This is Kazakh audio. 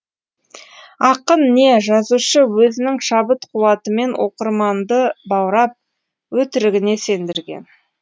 ақын не жазушыөзінің шабыт қуатымен оқырманды баурап өтірігіне сендірген